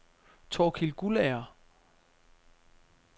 Torkild Guldager